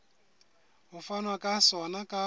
ho fanwa ka sona ka